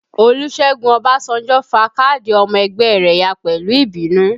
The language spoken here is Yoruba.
Olusegun Obasanjo fa káàdì ọmọ ẹgbẹ́ rẹ ya pẹ̀lú ìbínú